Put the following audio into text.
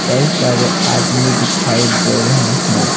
कई सारे आदमी दिखाई दे रहे हैं।